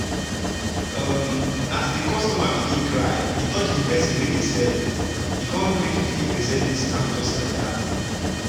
um as the customer begin cry e touch the perso nwey dey sell e con gree 15 percent discount just like that.